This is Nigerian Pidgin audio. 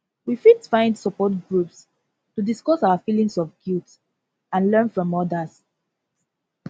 we fit find support groups to discuss our feelings of guilt and learn from others